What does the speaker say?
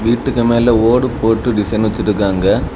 வீட்டுக்கு மேல ஓடு போட்டு டிசைன் வச்சிட்டு இருக்காங்க.